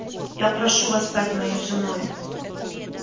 я прошу вас стать моей женой